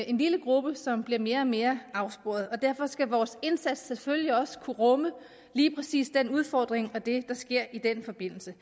en lille gruppe som bliver mere og mere afsporet derfor skal vores indsats selvfølgelig også kunne rumme lige præcis den udfordring og det der sker i den forbindelse